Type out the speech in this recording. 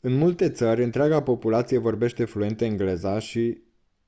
în multe țări întreaga populație vorbește fluent engleza și